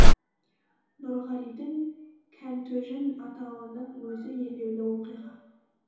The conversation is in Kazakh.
нұрғалидің кәнтөжін атауының өзі елеулі оқиға